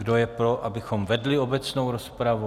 Kdo je pro, abychom vedli obecnou rozpravu?